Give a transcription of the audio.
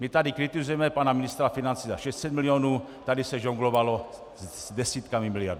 My tady kritizujeme pana ministra financí za 600 milionů, tady se žonglovalo s desítkami miliard.